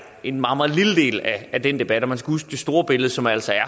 en meget meget lille del af den debat og man skal huske det store billede som altså er